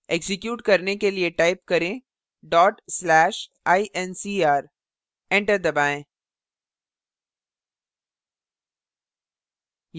execute करने के लिए type करें/incr enter दबाएँ